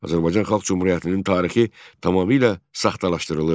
Azərbaycan Xalq Cümhuriyyətinin tarixi tamamilə saxtalaşdırılırdı.